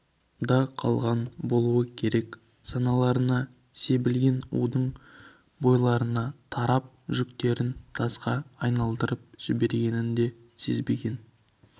да қалған болу керек саналарына себілген удың бойларына тарап жүректерін тасқа айналдырып жібергенін де сезбеген